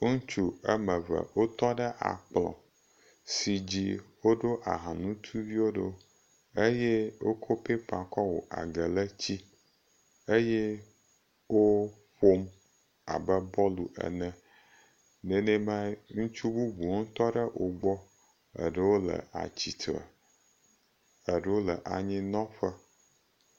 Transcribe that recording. Ŋutsu ame eve wotɔ ɖe akplɔ̃ si dzi woɖo ahanutuviwo ɖo eye wokɔ pépa kɔ wɔ agelétsi. Eye woƒom abe bɔlu ene. Nenemae ŋutsu bubuwo tɔ ɖe wogbɔ. Eɖewo le atsitre eɖewo le anyinɔƒe.